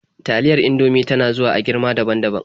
Taliyar Indomie ta na zuwa a girma daban-daban.